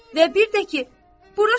Və bir də ki, bura şəhərdir.